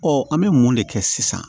an bɛ mun de kɛ sisan